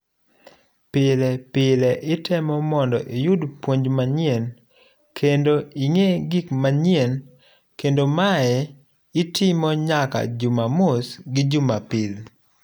Pile pile itemo mondo iyud puonj manyien kendo ing'e gik manyien kendo mae itimo nyaka jumamuos gi jumapil.